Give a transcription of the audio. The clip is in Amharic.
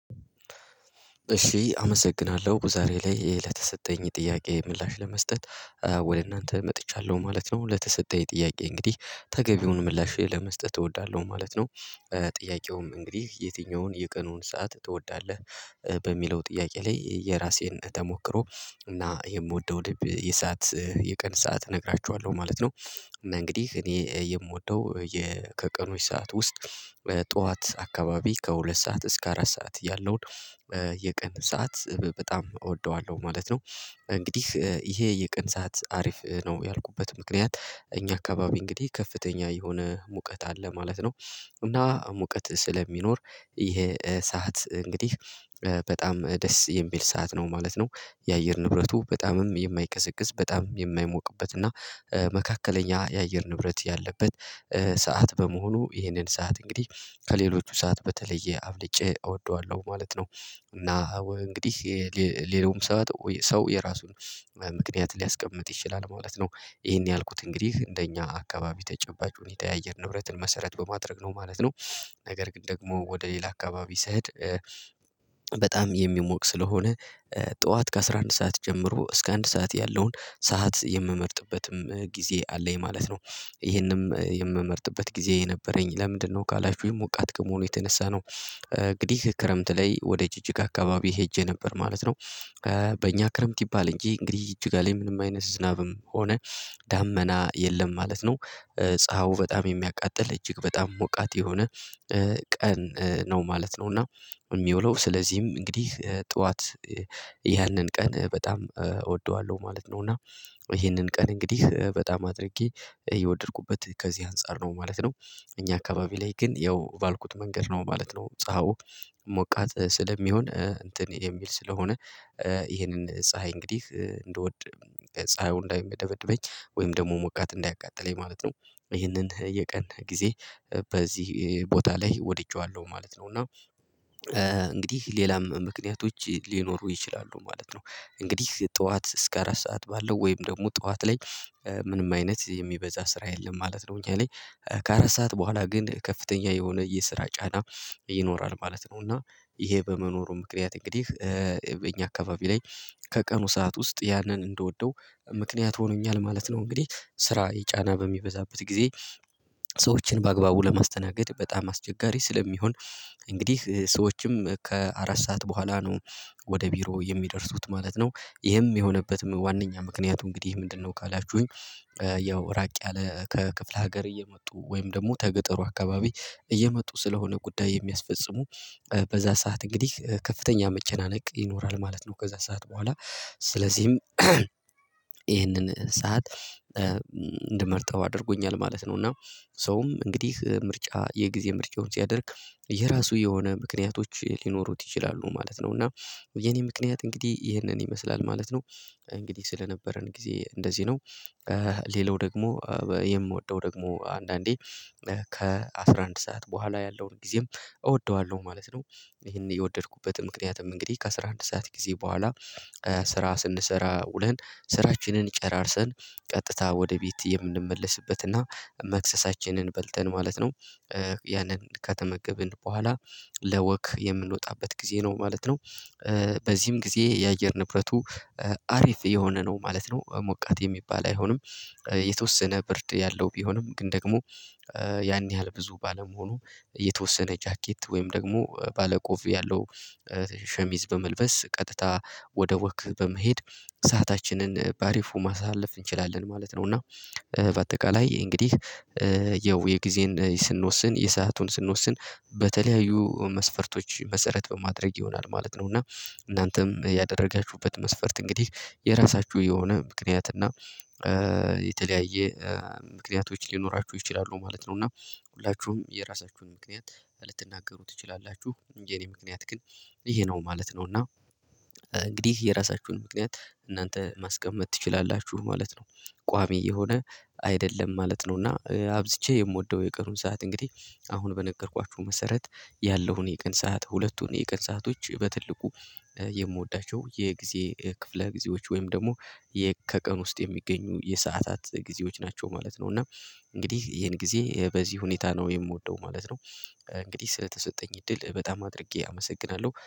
እሺ አመሰግናለሁ በዛሬ ላይ ይሄ ለተሰጠኝ ጥያቄ ምላሽ ለመስጠት። ወደ እናንተ መጥቻለሁ ማለት ነው። ለተሰጠኝ ጥያቄ እንግዲህ ተገቢውን ምላሼ ለመስጠት እወዳለሁ ማለት ነው። ጥያቄውም እንግዲህ የትኛውን የቀኑን ሰዓት ትወዳለህ? በሚለው ጥያቄ ላይ የራሴን ተሞክሮ እና የምወደው የሰዓት የቀን ሰዓት እነግራችኋለሁ ማለት ነው። እና እንግዲህ እኔ የምወደው ከቀኑት ሰዓት ውስጥ ጠዋት አካባቢ ከሁለት ሰዓት እስከ አራት ሰዓት ያለውን የቀን ሰዓት በጣም እወደዋለሁ ማለት ነው። እንግዲህ ይሄ የቀን ሰዓት አሪፍ ነው ያልኩበት ምክንያት እኛ አካባቢ እንግዲህ ከፍተኛ የሆነ ሙቀት አለ ማለት ነው። እና ሙቀት ስለሚኖር ይሄ ሰዓት እንግዲህ በጣም ደስ የሚል ሰዓት ነው ማለት ነው። የአየር ንብረቱ በጣምም የማይቀሰቅስ በጣም የማይሞቅበት እና መካከለኛ የአየር ንብረት ያለበት ሰዓት በመሆኑ ይህንን ሰዓት እንግዲህ ከሌሎቹ ሰዓት በተለየ አብልጬ እወደዋለሁ ማለት ነው። እና እንግዲህ የሌሎች ሰዓት ሰው የራሱን ምክንያት ሊያስቀምጥ ይችላል ማለት ነው። ይሄን ያልኩት እንግዲህ እንደኛ አካባቢ ተጨባጭ ሁኔታ የአየር ንብረትን መሰረት በማድረግ ነው ማለት ነው። ነገር ግን ደግሞ ወደ ሌላ አካባቢ ስሄድ በጣም የሚሞቅ ስለሆነ ጠዋት ከአሥራ አንድ ሰዓት ጀምሮ እስከ አንድ ሰዓት ያለውን ሰዓት የምመርጥበትም ጊዜ አለኝ ማለት ነው። ይሄንም የምመርጥበት ጊዜ የነበረኝ ለምንድነው ካላችሁኝ ሙቀት ከመሆኑ የተነሳ ነው እንግዲህ ክረምት ላይ ወደ ጅጅጋ አካባቢ ሄጄ ነበር ማለት ነው። በእኛ ክረምት ይባል እንጂ እንግዲህ እጅጋ ላይ ምንም አይነት ስዝናብም ሆነ ደመና የለም ማለት ነው። ፀሀዩ በጣም የሚያቃጥል እጅግ በጣም ሙቀት የሆነ ቀን ነው ማለት ነው። እና የሚውለው ስለዚህም እንግዲህ ጠዋት ያንን ቀን በጣም እወደዋለሁ ማለት ነው እና ይሄንን ቀን እንግዲህ በጣም አድርጌ የወደድኩበት ከዚህ አንፃር ነው ማለት ነው። እኛ አካባቢ ላይ ግን ያው ባልኩት መንገድ ነው ማለት ነው ፀሀዩ ሙቀት ስለሚሆን እንትን የሚል ስለሆነ ይሄንን ፀሀይ እንግዲህ እንደወድ ፀሀዩ እንዳይደበድበኝ ወይም ደግሞ ሙቀት እንዳያቃጥለኝ ማለት ነው። ይህንን የቀን ጊዜ በዚህ ቦታ ላይ ወድቼዋለሁ ማለት ነው እና እንግዲህ ሌላም ምክንያቶች ሊኖሩ ይችላሉ ማለት ነው። እንግዲህ ጠዋት እስከ አራት ሰዓት ባለው ወይም ደግሞ ጠዋት ላይ ምንም አይነት የሚበዛ ስራ የለም ማለት ነው እኛ ላይ ከአራት ሰዓት በኋላ ግን ከፍተኛ የሆነ የስራ ጫና ይኖራል ማለት ነው። እና ይሄ በመኖሩ ምክንያት እንግዲህ እኛ አካባቢ ላይ ከቀኑ ሰዓት ውስጥ ያንን እንድወደው ምክንያት ሆኖኛል ማለት ነው። እንግዲህ ስራ ጫና በሚበዛበት ጊዜ ሰዎችን በአግባቡ ለማስተናገድ በጣም አስቸጋሪ ስለሚሆን እንግዲህ ሰዎችም ከአራት ሰዓት በኋላ ነው ወደ ቢሮ የሚደርሱት ማለት ነው። ይህም የሆነበት ዋናኛ ምክንያቱ እንግዲህ ምንድነው ካላችሁኝ? ያው ራቅ ያለ ከክፍለ ሀገር እየመጡ ወይም ደግሞ ከገጠሩ አካባቢ እየመጡ ስለሆነ ጉዳይ የሚያስፈጽሙ በዛ ሰዓት እንግዲህ ከፍተኛ መቼናነቅ ይኖራል ማለት ነው። ከዛ ሰዓት በኋላ ስለዚህም ይህንን ሰዓት እንድመርጠው አድርጎኛል ማለት ነው። እና ሰውም እንግዲህ ምርጫ የጊዜ ምርጫውን ሲያደርግ የራሱ የሆነ ምክንያቶች ሊኖሩት ይችላሉ ማለት ነው። እና የኔ ምክንያት እንግዲህ ይህንን ይመስላል ማለት ነው። እንግዲህ ስለነበረን ጊዜ እንደዚህ ነው ሌላው ደግሞ የምወደው ደግሞ አንዳንዴ ከአሥራ አንድ ሰዓት በኋላ ያለውን ጊዜም እወደዋለሁ ማለት ነው። ይሄን የወደድኩበት ምክንያትም እንግዲህ ከአሥራ አንድ ሰዓት ጊዜ በኋላ ስራ ስንሰራ ውለን ስራችንን ጨራርሰን ቀጥታ ወደ ቤት የምንመለስበትና መክሰሳችንን በልተን ማለት ነው ያንን ከተመገብን በኋላ ለወክ የምንወጣበት ጊዜ ነው ማለት ነው። በዚህም ጊዜ የአየር ንብረቱ አሪፍ የሆነ ነው ማለት ነው ሙቀት የሚባል አይሆንም የተወሰነ ብርድ ያለው ቢሆንም ግን ደግሞ ያን ያህል ብዙ ባለመሆኑ የተወሰነ ጃኬት ወይም ደግሞ ባለቆፍ ያለው ሸሚዝ በመልበስ ቀጥታ ወደ ወክ በመሄድ ሰአታችንን በአሪፉ ማሳለፍ እንችላለን ማለት ነው። እና በአጠቃላይ እንግዲህ ያው የጊዜን ስንወስን የሰአቱን ስንወስን በተለያዩ መስፈርቶች መሰረት በማድረግ ይሆናል ማለት ነው። እና እናንተም ያደረጋችሁበት መስፈርት እንግዲህ የራሳችሁ የሆነ ምክንያት እና የተለያየ ምክንያቶች ሊኖራችሁ ይችላሉ ማለት ነው። እና ሁላችሁም የራሳችሁን ምክንያት ልትናገሩ ትችላላችሁ የኔ ምክንያት ግን ይሄ ነው ማለት ነው። እና ነው እና እንግዲህ የራሳችሁን ምክንያት እናንተ ማስቀመጥ ትችላላችሁ ማለት ነው። ቋሚ የሆነ አይደለም ማለት ነው እና አብዝቼ የምወደው የቀኑን ሰዓት እንግዲህ አሁን በነገርኳችሁ መሰረት ያለውን የቀን ሰዓት ሁለቱን የቀን ሰአቶች በትልቁ የምወዳቸው የጊዜ ክፍለ ጊዜዎች ወይም ደግሞ ከቀን ውስጥ የሚገኙ የሰአታት ጊዜዎች ናቸው ማለት ነው። እና እንግዲህ ይሄን ጊዜ በዚህ ሁኔታ ነው የምወደው ማለት ነው። እንግዲህ ስለተሰጠኝ እድል በጣም አድርጌ አመሰግናለሁ